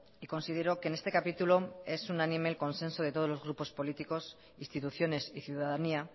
y considero que en este capítulo es unánime el consenso de todos los grupos políticos instituciones y ciudadanía